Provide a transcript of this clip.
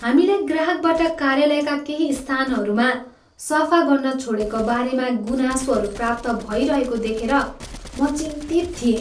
हामीलाई ग्राहकबाट कार्यालयका केही स्थानहरूमा सफा गर्न छोडेको बारेमा गुनासोहरू प्राप्त भइरहेको देखेर म चिन्तित थिएँ।